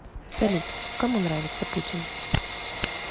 салют кому нравится путин